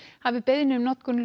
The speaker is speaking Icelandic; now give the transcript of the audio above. hafi beiðni um notkun